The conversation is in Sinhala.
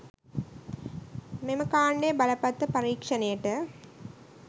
මෙම කාණ්ඩයේ බලපත්‍ර පරීක්‍ෂණයට